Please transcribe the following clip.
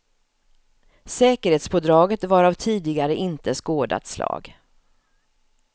Säkerhetspådraget var av tidigare inte skådat slag.